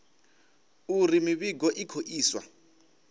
uri mivhigo i khou iswa